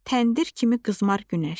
Təndir kimi qızmar günəş.